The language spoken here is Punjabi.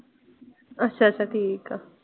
ਅੱਛਾ ਅੱਛਾ ਠੀਕ ਆ।